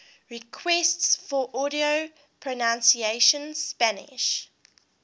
requests for audio pronunciation spanish